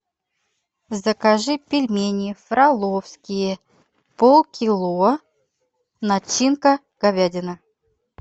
закажи пельмени фроловские полкило начинка говядина